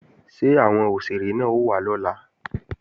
Ṣé àwọn òṣèré náà ó wá lọ́la?